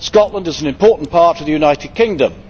Scotland is an important part of the United Kingdom.